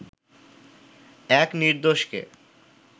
এক নির্দোষকে